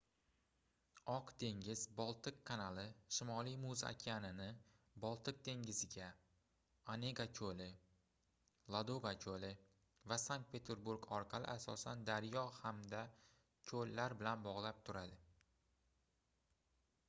oq dengiz-boltiq kanali shimoliy muz okeanini boltiq dengiziga onega koʻli ladoga koʻli va sankt-peterburg orqali asosan daryo hamda koʻllar bilan bogʻlab turadi